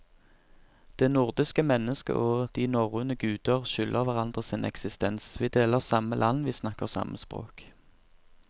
Det nordiske mennesket og de norrøne guder skylder hverandre sin eksistens, vi deler samme land, vi snakker samme språk.